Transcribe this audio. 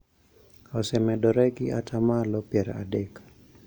osemedore gi atamalo pier adek